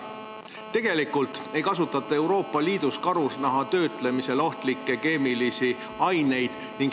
Tegelikult ei kasutata Euroopa Liidus karusnaha töötlemisel ohtlikke keemilisi ained.